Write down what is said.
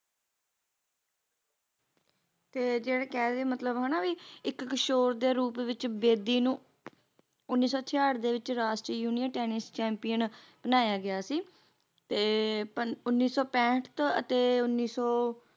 ਤੇ ਜਿਹੜੇ ਕਹਿ ਰਹੇ ਮਤਲਬ ਹਨਾ ਵੀ ਇਕ ਕਿਸ਼ੋਰ ਦੇ ਰੂਪ ਵਿੱਚ ਬੇਦੀ ਨੂੰ ਉੱਨੀ ਸੌ ਛੇਆਠ ਦੇ ਵਿੱਚ ਰਾਸ਼ਟਰੀ ਯੂਨੀਅਨ ਟੈਨਿਸ ਚੈਂਪੀਅਨ ਬਣਾਇਆ ਗਿਆ ਸੀ ਤੇ ਪਨ ਉੱਨੀ ਸੌ ਪੈਂਠ ਤੋਂ ਅਤੇ ਉੱਨੀ ਸੌ